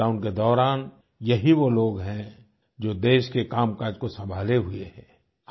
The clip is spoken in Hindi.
लॉकडाउन के दौरान यही वो लोग हैं जो देश के कामकाज को संभाले हुए हैं